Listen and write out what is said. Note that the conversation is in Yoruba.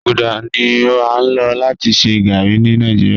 Gbaguda ni a lo lati ṣe garri ni Nigeria